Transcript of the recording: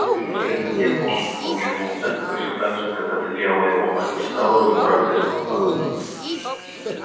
вслед за тем он облизнулся точно так же как это делала его мать и стала выбираться из куста